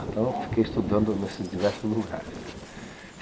Então, eu fiquei estudando nesses diversos lugares.